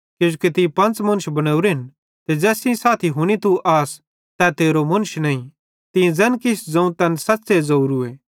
किजोकि तीं पंच़ मुन्श बनोरेन ते ज़ैस सेइं साथी तू हुन्ना आस तै तेरो मुन्श नईं तीं ज़ैन किछ ज़ोवं तैन सच़्च़े ज़ोरूए